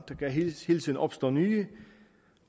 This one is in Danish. kan hele tiden opstå nye